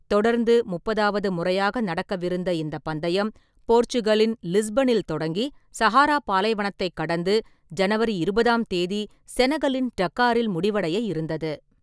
தொடர்ந்து முப்பதாவது முறையாக நடக்கவிருந்த இந்தப் பந்தயம், போர்ச்சுகலின் லிஸ்பனில் தொடங்கி, சஹாரா பாலைவனத்தைக் கடந்து ஜனவரி இருபதாம் தேதி செனகலின் டக்காரில் முடிவடைய இருந்தது.